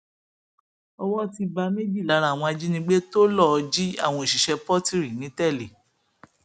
owó ti bá méjì lára àwọn ajínigbé tó lọọ jí àwọn òṣìṣẹ pọtìrì nìtẹlé